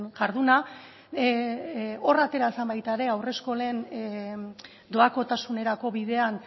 jarduna hor atera zen baita ere haurreskolen doakotasunerako bidean